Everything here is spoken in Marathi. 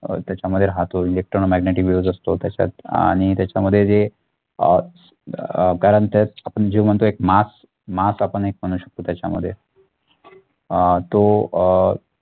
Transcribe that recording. अह त्याच्यामध्ये हा तो electromagneticwaves असतो त्याच्यात आणि त्याच्यामध्ये जे अह अह कारण त्यात आपण जे म्हणतो एक MassMass आपण एक म्हणू शकतो त्याच्यामध्ये अह तो अह